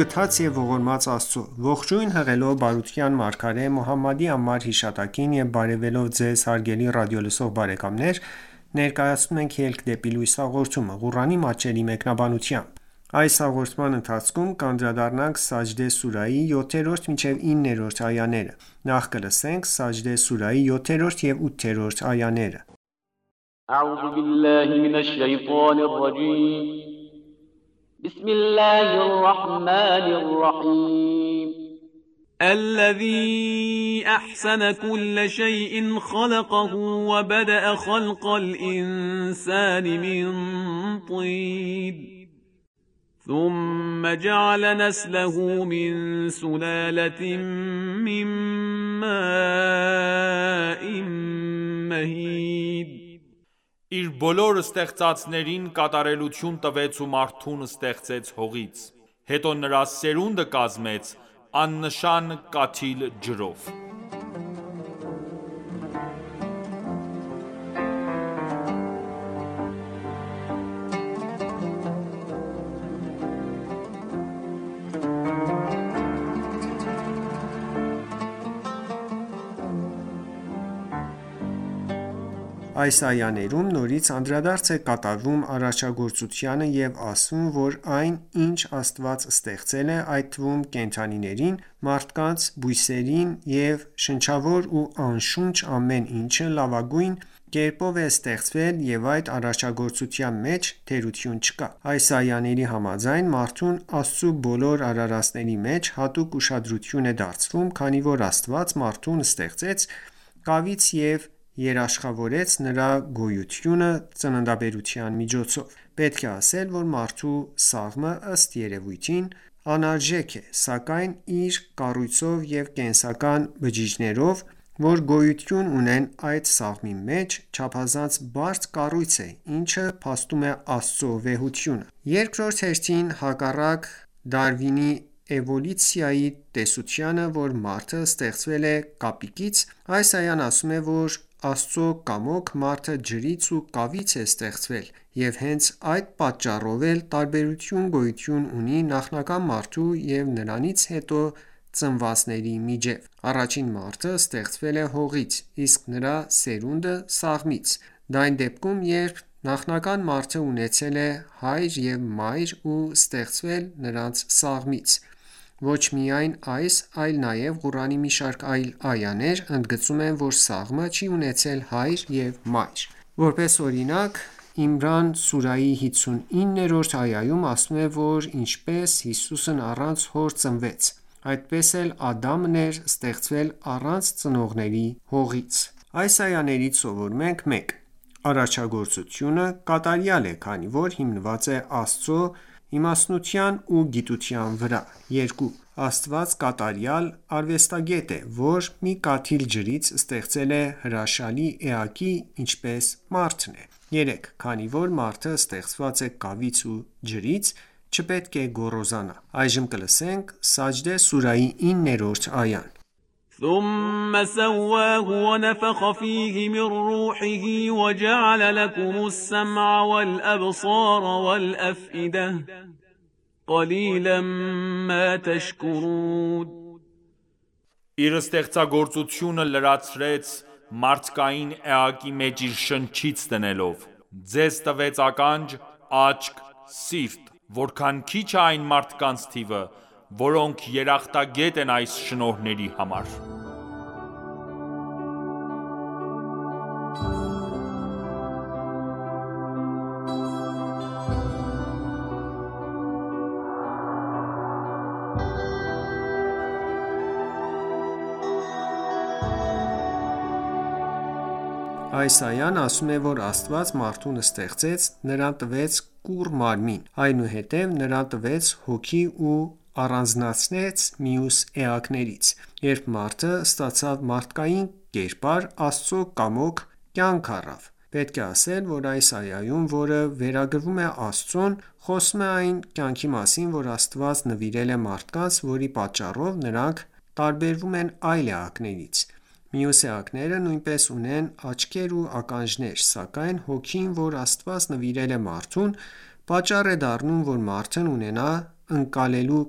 գթած և ողորմած Աստծո: Ողջույն հղելով բարության մարգարե Մոհամմադի անմար հիշատակին եւ բարեւելով Ձեզ հարգելի ռադիոլսող բարեկամներ, ներկայացնում ենք «Ելք դեպի լույս» հաղորդումը, Ղուրանի մատչելի մեկնաբանությամբ: Սաջդե սուրահի 7-րդ և 8-րդ այաներ الَّذِی أَحْسَنَ کُلَّ شَیْءٍ خَلَقَهُ ۖ وَبَدَأَ خَلْقَ الْإِنْسَانِ مِنْ طِینٍ ثُمَّ جَعَلَ نَسْلَهُ مِنْ سُلَالَةٍ مِنْ مَاءٍ مَهِینٍ Իր բոլոր ստեղծածներին կատարելություն տվեց ու մարդուն ստեղծեց հողից: Հետո նրա սերունդը կազմեց աննշան կաթիլ ջրով: Այս այաներում նորից անդրադարձ է կատարվում արարչագործությանը և ասվում, որ այն, ինչ Աստված ստեղծել է, այդ թվում՝ կենդանիներին, մարդկանց, բույսերին և շնչավոր ու անշունչ ամեն ինչը, լավագույն կերպով է ստեղծվել և այդ արարչագործության մեջ թերություն չկա: Այս այաների համաձայն, մարդուն Աստծու բոլոր արարածների մեջ, հատուկ ուշադրություն է դարձվում, քանի որ Աստված մարդուն ստեղծեց կավից և երաշխավորեց նրա գոյությունը՝ ծննդաբերության միջոցով: Պետք է ասել, որ մարդու սաղմը, ըստ երևույթին, անարժեք է, սակայն իր կառույցով ու կենսական բջիջներով, որ գոյություն ունեն այդ սաղմի մեջ, չափազանց բարդ կառույց է, ինչը փաստում է Աստծու վեհությունը: Երկրորդ հերթին, հակառակ Դարվինի էվոլյուցիայի տեսությանը, որ մարդը ստեղծվել է կապիկից, այս այան ասում է, որ Աստծու կամոք, մարդը ջրից ու կավից է ստեղծվել և հենց այդ պատճառով էլ տարբերություն գոյություն ունի նախնական մարդու և նրանից հետո ծնվածների միջև: Առաջին մարդը ստեղծվել է հողից, իսկ նրա սերունդը՝ սաղմից: Դա այն դեպքում, երբ նախնական մարդը ունեցել է հայր և մայր ու ստեղծվել նրանց սաղմից: Ոչ միայն այս, այլ նաև Ղուրանի մի շարք այլ այաներ, ընդգծում են, որ Ադամը չի ունեցել հայր և մայր: Որպես օրինակ, Իմրան սուրահի 59-րդ այայում ասվում է, որ ինչպես Հիսուսն առանց հոր ծնվեց, այդպես էլ Ադամն էր ստեղծվել առանց ծնողների՝ հողից։ Այս այաներից սովորում ենք․ 1. Արարչագործությունը կատարյալ է, քանի որ հիմնված է Աստծու իմաստնության ու գիտության վրա։ 2. Աստված կատարյալ արվեստագետ է, որ մի կաթիլ ջրից ստեղծել է հրաշաի էակի ինչպես մարդն է։ 3. Քանի որ մարդը ստեղծված է կավից ու ջրից, չպետք է գոռոզանա։ Սաջդե սուրահի 9-րդ այա Իր ստեղծագործությունը լրացրեց մարդկային էակի մեջ իր շնչից դնելով: Ձեզ տվեց ականջ, աչք, սիրտ: Որքան քիչ է այն մարդկանց թիվը, որոնք երախտագետ են այս շնորհների համար: Այս այան ասում է, որ Աստված մարդուն ստեղծեց, նրան տվեց կուռ մարմին, այնուհետև նրան տվեց հոգի ու առանձնացրեց մյուս էակներից: Երբ մարդը ստացավ մարդկային կերպար, Աստծու կամոք կյանք առավ: Պետք է ասել, որ այս այայում, որը վերագրվում է Աստծուն, խոսվում է այն կյանքի մասին, որ Աստված նվիրել է մարդկանց, որի պատճառով նրանք տարբերվում են այլ էակներից: Մյուս էակները նույնպես ունեն աչքեր ու ականջներ, սակայն հոգին, որ Աստված նվիրել է մարդուն, պատճառ է դառնում, որ մարդն ունենա ընկալելու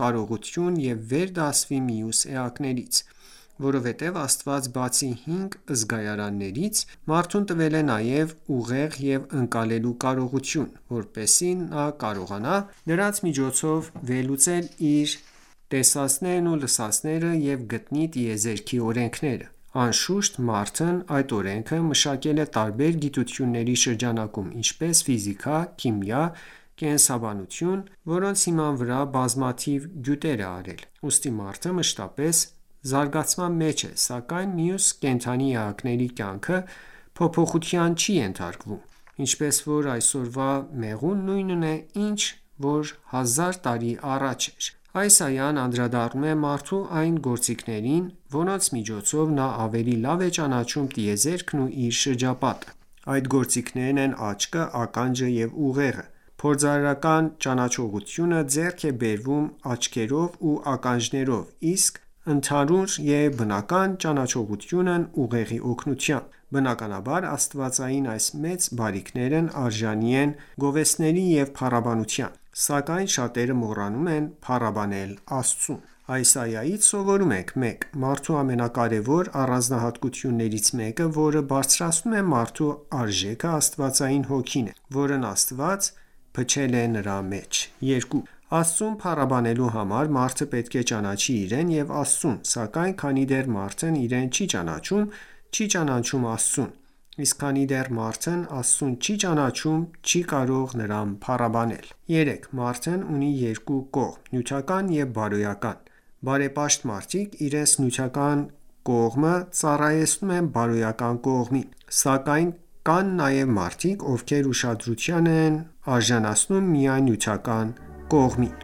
կարողություն և վեր դասվի մյուս էակներից: Որովհետև Աստված բացի հինգ զգայարաններից, մարդուն տվել է նաև ուղեղ և ընկալելու կարողություն, որպեսզի նա կարողանա դրանց միջոցով վերլուծել իր տեսածներն ու լսածները և գտնի տիեզերքի օրենքները: Անշուշտ, մարդն այդ օրենքները մշակել է տարբեր գիտությունների շրջանակում, ինչպես՝ ֆիզիկա, քիմիա, կենսաբանություն, որոնց հիման վրա բազմաթիվ գյուտեր է արել: Ուստի մարդը մշտապես զարգացման մեջ է, սակայն մյուս կենդանի էակների կյանքը փոփոխության չի ենթարկվում: Ինչպես որ այսօրվա մեղուն նույնն է, ինչ որ 1000 տարի առաջ: Այս այան անդրադառնում է մարդու այն գործիքներին, որոնց միջոցով, նա ավելի լավ է ճանաչում տիեզերքն ու իր շրջապատը: Այդ գործիքներն են աչքը, ականջը և ուղեղը: Փորձարարական ճանաչողությունը ձեռք է բերվում աչքերով ու ականջներով, իսկ ընդհանուր և բանական ճանաչողությունն ուղեղի օգնությամբ: Բնականաբար, աստվածային այս մեծ բարիքներն արժանի են գովեստների ու փառաբանության: Սակայն շատերը մոռանում են փառաբանել Աստծուն: Այս այայից սովորում ենք. 1. Մարդու ամենակարևոր առանձնահատկություններից մեկը որը բարձրացնում է մարդու արժեքը, աստվածային հոգին է, որն Աստված փչել է նրա մեջ 2. Աստծուն փառաբանելու համար, մարդը պետք է ճանաչի իրեն և Աստծուն: Սակայն քանի դեռ մարդն իրեն չի ճանաչում, չի ճանաչում Աստծուն: Իսկ քանի դեռ մարդն Աստծուն չի ճանաչում, չի կարող նրան փառաբանել: 3. Մարդն ունի երկու կողմ՝ նյութական ու բարոյական: Բարեպաշտ մարդիկ իրենց նյութական կողմը ծառայեցնում են բարոյական կողմին: Սակայն կան նաև մարդիկ, ովքեր ուշադրություն են դարձնում միայն նյութական կողմին: